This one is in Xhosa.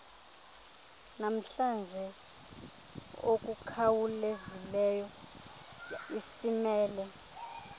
namhlanje okukhawulezileyo esimele